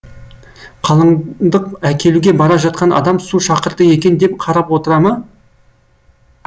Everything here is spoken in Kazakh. қалыңдық әкелуге бара жатқан адам су шақырды екен деп қарап отыра ма